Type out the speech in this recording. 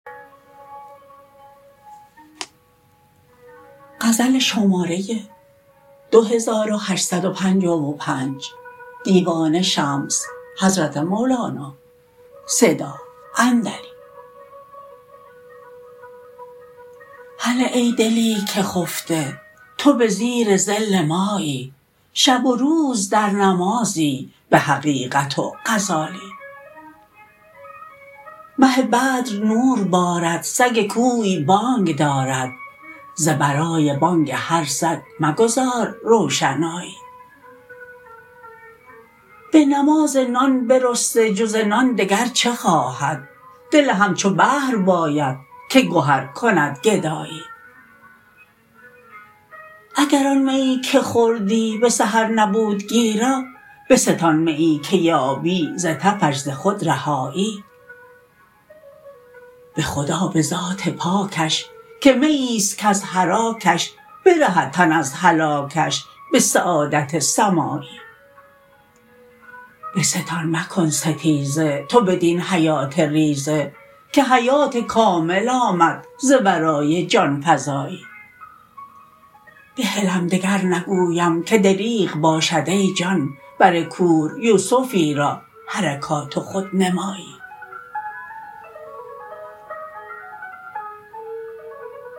هله ای دلی که خفته تو به زیر ظل مایی شب و روز در نمازی به حقیقت و غزالی مه بدر نور بارد سگ کوی بانگ دارد ز برای بانگ هر سگ مگذار روشنایی به نماز نان برسته جز نان دگر چه خواهد دل همچو بحر باید که گهر کند گدایی اگر آن میی که خوردی به سحر نبود گیرا بستان میی که یابی ز تفش ز خود رهایی به خدا به ذات پاکش که میی است کز حراکش برهد تن از هلاکش به سعادت سمایی بستان مکن ستیزه تو بدین حیات ریزه که حیات کامل آمد ز ورای جان فزایی بهلم دگر نگویم که دریغ باشد ای جان بر کور یوسفی را حرکات و خودنمایی